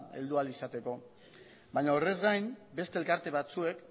heldu ahal izateko baina horrez gain beste elkarte batzuek